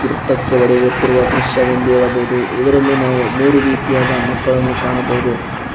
ಗುರ್ತಕ್ಕೆ ಹೊಡೆಯುತ್ತಿರುವ ದೃಶ್ಯ ವೆಂದು ಹೇಳಬಹುದು ಇದರಲ್ಲಿ ನಾವು ಮೂರು ರೀತಿಯಾದ ಮಕ್ಕಳನ್ನು ಕಾಣಬೊದು.